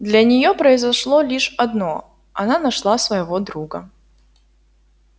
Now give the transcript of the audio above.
для неё произошло лишь одно она нашла своего друга